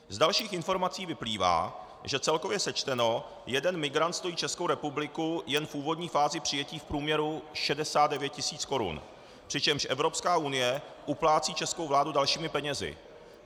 Z dalších informací vyplývá, že celkově sečteno jeden migrant stojí Českou republiku jen v úvodní fázi přijetí v průměru 69 tis. korun, přičemž Evropská unie uplácí českou vládu dalšími penězi.